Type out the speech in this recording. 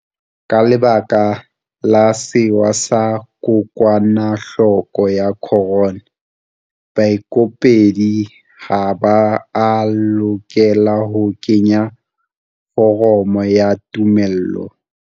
Ka lebaka la sewa sa kokwanahloko ya corona, baikopedi ha ba a lokela ho kenya foromo ya tumello.